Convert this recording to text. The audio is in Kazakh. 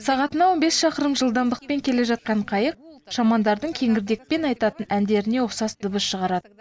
сағатына он бес шақырым жылдамдықпен келе жатқан қайық шамандардың кеңірдекпен айтатын әндеріне ұқсас дыбыс шығарады